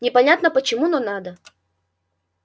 непонятно почему но надо